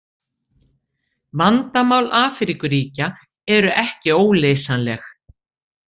Vandamál Afríkuríkja eru ekki óleysanleg.